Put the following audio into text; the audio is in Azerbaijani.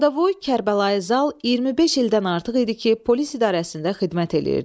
Qaradavoy Kərbəlayi Zal 25 ildən artıq idi ki, polis idarəsində xidmət eləyirdi.